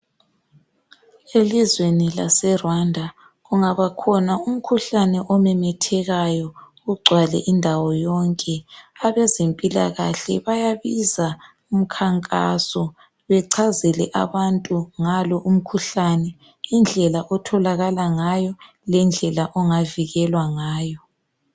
Elizweni laseRwanda kungaba khona umkhuhlane omemethekayo ugcwale indawo yonke abezempilakahle bayabiza umkhankaso bechazele abantu ngalo umkhuhlane indlela otholakala ngayo lendlela ongavikelwa ngayo.